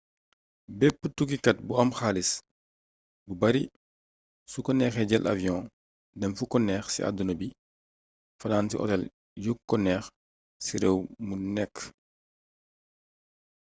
bépp tukkikat bu am xaalis bu bari su ko neexee jël avion dem fu ko neex ci àdduna bi fanaan ci hotel yuk o neex ci réew mu nekk